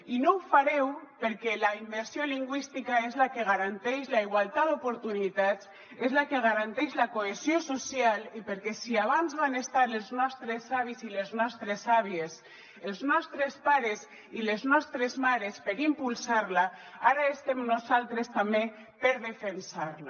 i no ho fareu perquè la immersió lingüística és la que garanteix la igualtat d’oportunitats és la que garanteix la cohesió social i perquè si abans van estar els nostres avis i les nostres àvies els nostres pares i les nostres mares per impulsar la ara estem nosaltres també per defensar la